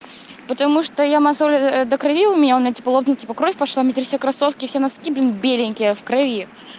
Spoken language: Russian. потому что я мозоль до крови у меня у меня ну типа лопнул типа кровь пошла внутри все кроссовки и носки блин беленькие в крови